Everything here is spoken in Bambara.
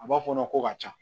A b'a fɔɔnɔ ko ka ca